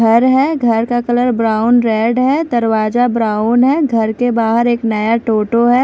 घर है घर का कलर ब्राउन रेड है दरवाजा ब्राउन है घर के बाहर एक नया टोटो है।